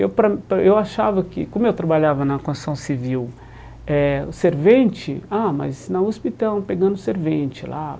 Eu para eu achava que, como eu trabalhava na construção civil eh, o servente... Ah, mas na USP estão pegando servente lá.